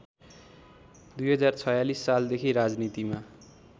२०४६ सालदेखि राजनीतिमा